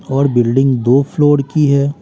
और बिल्डिंग दो फ्लोर की है।